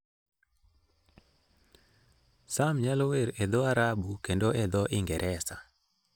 Sam nyalo wer e dho Arabu, kendo e dho Ingresa.